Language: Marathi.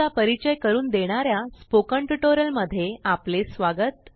चा परिचय करून देणाऱ्या स्पोकन ट्यूटोरियल मध्ये आपले स्वागत